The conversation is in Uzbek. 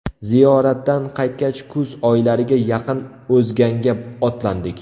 Ziyoratdan qaytgach kuz oylariga yaqin O‘zganga otlandik.